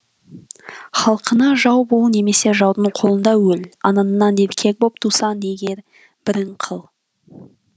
халқыңа жау бол немесе жаудың қолында өл анаңнан еркек боп тусаң егер бірін қыл